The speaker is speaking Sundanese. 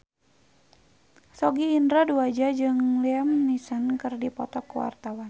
Sogi Indra Duaja jeung Liam Neeson keur dipoto ku wartawan